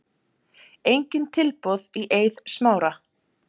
Engin tilboð í Eið Smára